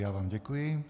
Já vám děkuji.